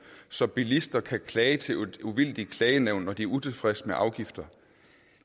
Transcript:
så bilister kan klage til et uvildigt klagenævn når de er utilfredse med afgifter